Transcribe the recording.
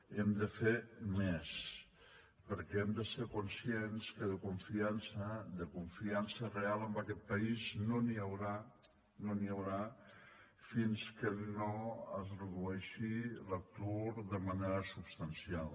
hem de fer més perquè hem de ser conscients que de confiança de confiança real en aquest país no n’hi haurà no n’hi haurà fins que no es redueixi l’atur de manera substancial